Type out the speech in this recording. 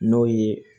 N'o ye